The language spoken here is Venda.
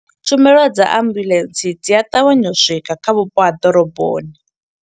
Tshumelo dza ambuḽentse dzi a ṱavhanya u swika kha vhupo ha ḓoroboni.